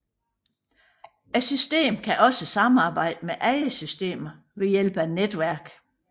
Systemet kan også samarbejde med andre systemer ved hjælp af netværk